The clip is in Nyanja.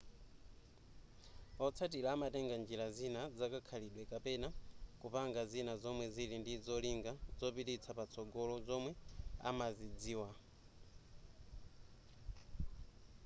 otsatira amatenga njira zina zakakhalidwe kapena kupanga zina zomwe zili ndi zolinga zopititsa patsogolo zomwe amazidziwa